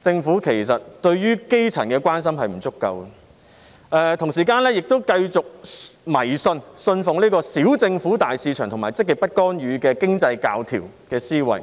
政府其實對於基層的關心並不足夠，同時亦繼續信奉"小政府、大市場"及積極不干預的經濟教條的思維。